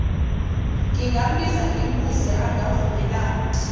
ngingambiza ngimbuze angavumelana